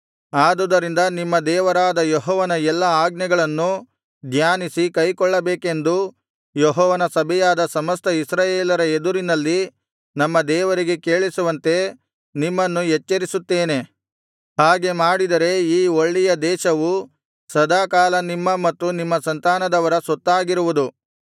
ಆದುದರಿಂದ ನಿಮ್ಮ ದೇವರಾದ ಯೆಹೋವನ ಎಲ್ಲಾ ಆಜ್ಞೆಗಳನ್ನು ಧ್ಯಾನಿಸಿ ಕೈಕೊಳ್ಳಬೇಕೆಂದು ಯೆಹೋವನ ಸಭೆಯಾದ ಸಮಸ್ತ ಇಸ್ರಾಯೇಲರ ಎದುರಿನಲ್ಲಿ ನಮ್ಮ ದೇವರಿಗೆ ಕೇಳಿಸುವಂತೆ ನಿಮ್ಮನ್ನು ಎಚ್ಚರಿಸುತ್ತೇನೆ ಹಾಗೆ ಮಾಡಿದರೆ ಈ ಒಳ್ಳೆಯ ದೇಶವು ಸದಾಕಾಲ ನಿಮ್ಮ ಮತ್ತು ನಿಮ್ಮ ಸಂತಾನದವರ ಸ್ವತ್ತಾಗಿರುವುದು